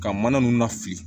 Ka mana nunnu na fili